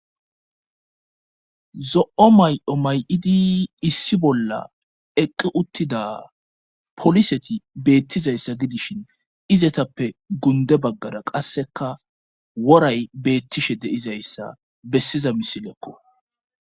zo7o may7o may7idi issi bolla eqi uttida poliseti beettizayssa gidishin izetappe gunde baggara qasseka woray beettishe deizayssa bessiza misilekko